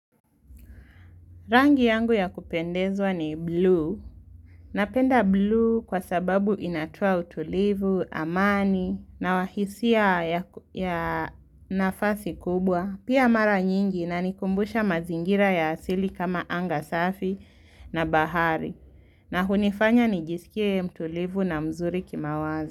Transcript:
Rangi yangu ya kupendezwa ni blue. Napenda blue kwa sababu inatua utulivu, amani na wahisia ya nafasi kubwa. Pia mara nyingi inanikumbusha mazingira ya asili kama anga safi na bahari. Na hunifanya nijisikie mtulivu na mzuri kimawazo.